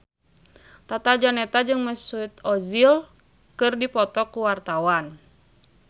Tata Janeta jeung Mesut Ozil keur dipoto ku wartawan